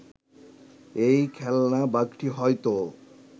এই খেলনা বাঘটি হয়তো